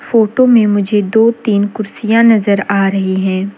Photo में मुझे दो तीन कुर्सियां नजर आ रही हैं।